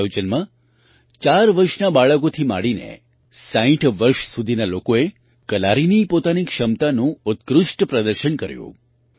આ આયોજનમાં ચાર વર્ષના બાળકોથી માંડીને 60 વર્ષ સુધીના લોકોએ કલારીની પોતાની ક્ષમતાનું ઉત્કૃષ્ટ પ્રદર્શન કર્યું